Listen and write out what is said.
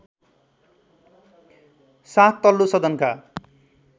साथ तल्लो सदनका